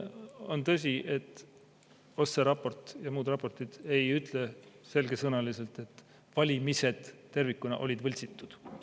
On tõsi, et OSCE raport ja muud raportid ei ütle selgesõnaliselt, et valimised tervikuna olid võltsitud.